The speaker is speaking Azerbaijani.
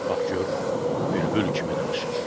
Bax gör, bülbül kimi danışır.